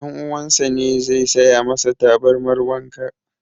Ɗan uwan sa ze saya masa tabarmar wanka